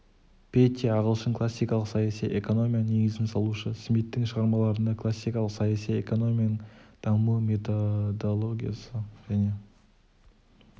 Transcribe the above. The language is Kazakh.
петти ағылшын классикалық саяси экономияның негізін салушы смиттің шығармаларында классикалық саяси экономияның дамуы методологиясы және